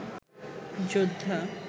যোদ্ধা